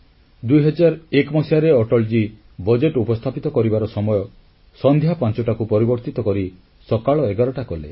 2001 ମସିହାରେ ଅଟଲଜୀ ବଜେଟ ଉପସ୍ଥାପିତ କରିବାର ସମୟ ସନ୍ଧ୍ୟା 5ଟାକୁ ପରିବର୍ତ୍ତିତ କରି ସକାଳ 11ଟା କଲେ